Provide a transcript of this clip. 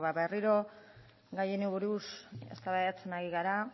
ba berriro gai honi buruz eztabaidatzen ari gara